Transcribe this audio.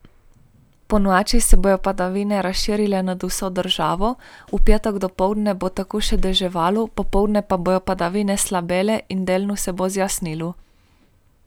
Ponoči se bodo padavine razširile nad vso državo, v petek dopoldne bo tako še deževalo, popoldne pa bodo padavine slabele in delno se bo zjasnilo.